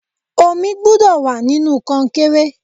Omi gbúdọ̀ wà nínú konkéré.